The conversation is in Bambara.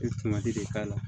I bɛ de k'a la